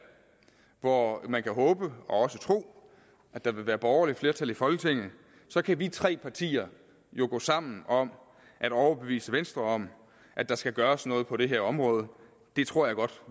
hvor man kan håbe og også tro at der vil være borgerligt flertal i folketinget så kan vi tre partier jo gå sammen om at overbevise venstre om at der skal gøres noget på det her område det tror jeg godt